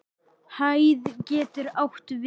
Hæð getur átt við